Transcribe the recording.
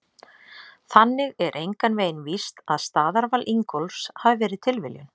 Þannig er engan veginn víst að staðarval Ingólfs hafi verið tilviljun!